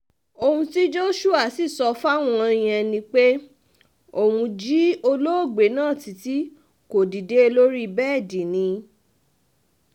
ohun tí joshua sì sọ fáwọn yẹn ni pé òun jí olóògbé náà títí kò dìde lórí bẹ́ẹ̀dì ni